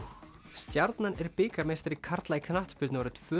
stjarnan er bikarmeistari karla í knattspyrnu árið tvö